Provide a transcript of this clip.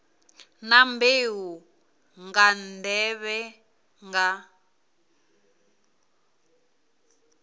na mbeu nga nḓevhe nga